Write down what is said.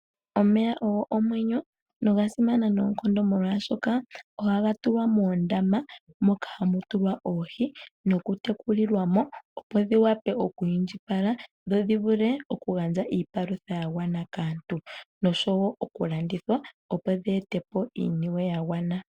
Omeya ogo omwenyo noga simana noonkondo molwashoka ohaga tulwa muundama moka hamu tulwa oohi okutekulilwa mo opo dhi wa pe oku indjipala nodhi vule okugandja iipalutha yagwana kaantu noshowo okulandithwa opo dhi ete po iiyemo ya gwana.